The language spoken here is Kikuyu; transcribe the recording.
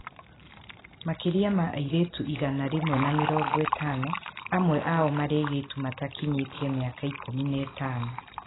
Makĩria ma airĩtu igana rĩmwe na mĩrongo ĩtano ,amwe ao maarĩ airĩtu arĩa mataakinyĩtie mĩaka 15.